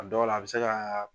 A dɔw la bɛ se ka.